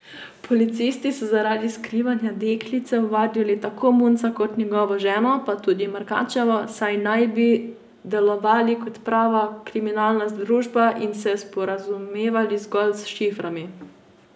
Policisti so zaradi skrivanja deklice ovadili tako Munca kot njegovo ženo pa tudi Markačevo, saj naj bi delovali kot prava kriminalna združba in se sporazumevali zgolj s šiframi.